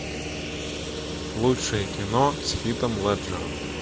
лучшее кино с хитом леджером